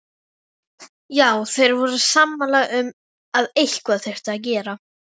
Já, þeir voru sammála um að eitthvað þyrfti að gera.